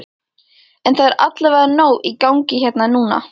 En það er allavega nóg í gangi hérna núna?